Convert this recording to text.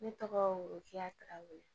Ne tɔgɔ o ja tarawele